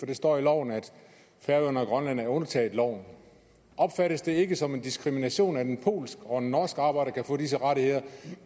det står i loven at færøerne og grønland er undtaget loven opfattes det ikke som diskrimination at en polsk og en norsk arbejder kan få disse rettigheder